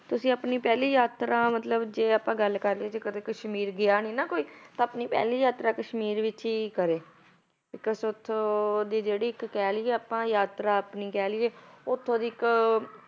ਤੁਸੀਂ ਆਪਣੀ ਪਹਿਲੀ ਯਾਤਰਾ ਮਤਲਬ ਜੇ ਆਪਾਂ ਗੱਲ ਕਰ ਲਈਏ ਤੇ ਕਦੇ ਕਸ਼ਮੀਰ ਗਿਆ ਨੀ ਨਾ ਕੋਈ ਤਾਂ ਆਪਣੀ ਪਹਿਲੀ ਯਾਤਰਾ ਕਸ਼ਮੀਰ ਵਿੱਚ ਹੀ ਕਰੇ because ਉੱਥੋਂ ਦੀ ਜਿਹੜੀ ਇੱਕ ਕਹਿ ਲਈਏ ਆਪਾਂ ਯਾਤਰਾ ਆਪਣੀ ਕਹਿ ਲਈਏ ਉੱਥੋਂ ਦੀ ਇੱਕ